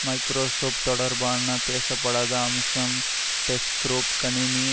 Microsoft தொடர்பான பேசப்படாத அம்சம் டெஸ்க்ரொப் கணினி